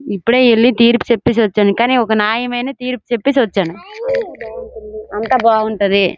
ఇప్పుడే ఎళ్ళి తీర్పు సెప్పేసి వచ్చాను కాని ఒక నాయమైన తీరుపు చెప్పేసి వచ్చాను అంతా బాగుంటది.